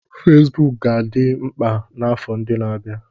Fesibuku ka ga-adị mkpa n'afọ ndị na-abịa.